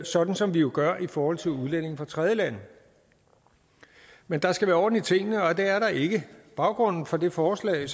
sådan som vi jo gør i forhold til udlændinge fra tredjelande men der skal være orden i tingene og det er der ikke baggrunden for det forslag